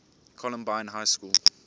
columbine high school